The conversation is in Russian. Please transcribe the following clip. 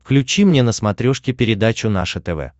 включи мне на смотрешке передачу наше тв